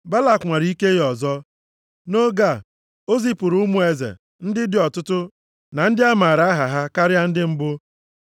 Balak nwara ike ya ọzọ. Nʼoge a, o zipụrụ ụmụ eze ndị dị ọtụtụ na ndị a maara aha ha karịa ndị mbụ.